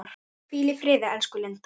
Hvíl í friði, elsku Linda.